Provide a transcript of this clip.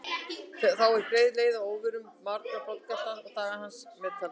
Þá er greið leið að óvörðum maga broddgaltarins og dagar hans þar með taldir.